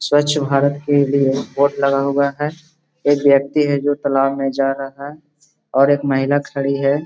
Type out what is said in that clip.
स्वच्छ भारत के लिए बोर्ड लगा हुआ है एक व्यक्ति है जो तालाब में जा रहा है और एक महिला खड़ी है।